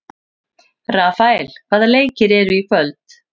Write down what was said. Rafael, hvaða leikir eru í kvöld?